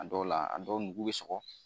A dɔw la a dɔw nugu bɛ sɔgɔ